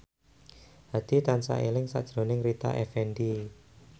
Hadi tansah eling sakjroning Rita Effendy